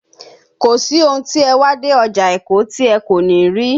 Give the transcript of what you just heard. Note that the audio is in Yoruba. Kò sí ohun tí ẹ wá dé ọjà Èkó tí ẹ kò ní rí